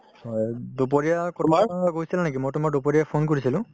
হয়, দুপৰীয়া কোনোবাফালে গৈছিল নেকি মই তোমাক দুপৰীয়াই phone কৰিছিলো